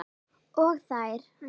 Og þær.